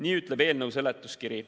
Nii ütleb ka eelnõu seletuskiri.